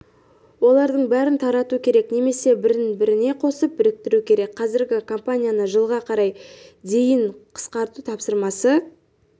олардың бәрін тарату керек немесе бірін-біріне қосып біріктіру керек қазіргі компанияны жылға қарай дейін қысқарту тапсырмасы